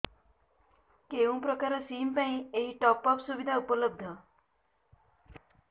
କେଉଁ ପ୍ରକାର ସିମ୍ ପାଇଁ ଏଇ ଟପ୍ଅପ୍ ସୁବିଧା ଉପଲବ୍ଧ